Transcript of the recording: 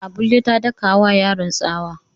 Abulle ta daka wa yaron tsawa.